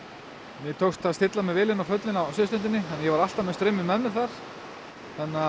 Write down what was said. mér tókst að stilla mig vel inn á föllin á suðurströndinni ég var alltaf með strauminn með mér þar þannig að